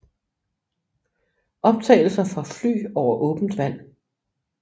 Optagelser fra fly over åbent vand